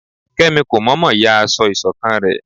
Kemí kómọmọ yá aso isokan re